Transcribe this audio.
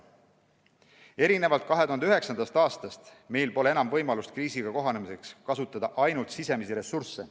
Erinevalt 2009. aastast meil pole enam võimalust kriisiga kohanemiseks kasutada ainult sisemisi ressursse.